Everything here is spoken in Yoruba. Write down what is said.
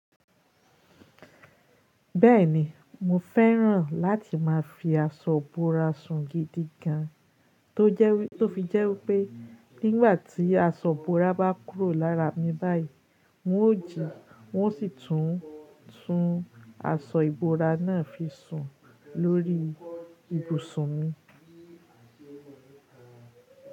Bẹ́ẹ̀ni, mo fẹ́ràn láti máa fi aṣọ ìbora sun gidi gan, tó fi jẹ́ wípé nígbà tí aṣọ ìbora bá kúrò lára mi báyìí, n ó jì hun o sì tún tun aṣọ ìbora náà fi sun lórí ibùsùn mi.